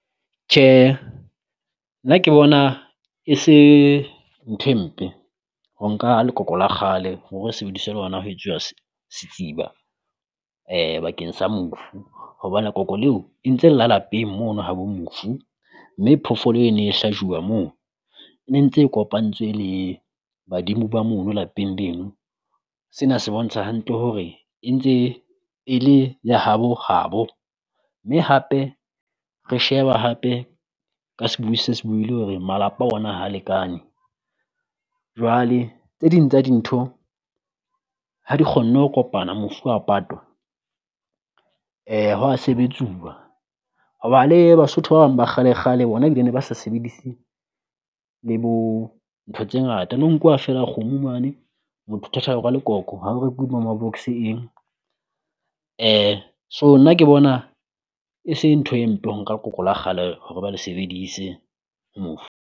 Tjhe nna ke bona e se nthwe mpe ho nka lekoko la kgale hore sebediswe lona ho etsuwa setsiba bakeng sa mofu. Hobane koko leo e ntse la lapeng mono ha bo mofu, mme phofolo e ne hlajuwa moo ne ntse kopantswe le badimo ba mono lapeng leno. Sena se bontsha hantle hore e ntse e le ya habo habo, mme hape re sheba hape ka sebui se se buile hore malapa ona ha lekane. Jwale Tse ding tsa dintho ha di kgonne ho kopana mofu a patwa ho wa sebetsuwa, hoba le Basotho ba bang ba kgale kgale bona ebile ne ba sa sebedise le bo ntho tse ngata. No ho nkuwa feela kgomo mane motho thathelwa lekoko ha o rekuwe box-e eng so nna ke bona e seng ntho e mpe nka koko le kgale hore ba le sebeditse ho mofu.